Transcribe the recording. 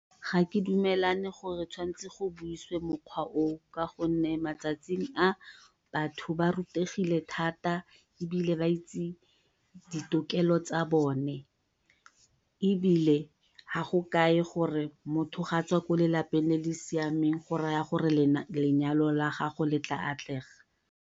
Ga ke dumalane gore go tshwanetse go buiswe mokgwa o o ka gonne matsatsing a batho ba rutegile thata, ebile ba itse ditokelo tsa bone ebile ha go kae gore motho ga a tswa ko lelapeng le le siameng lenyalo la gagwe le tla atlega.